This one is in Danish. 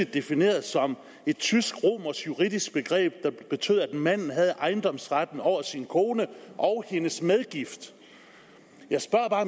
defineret som et tysk romersk juridisk begreb der betød at manden havde ejendomsretten over sin kone og hendes medgift jeg spørger bare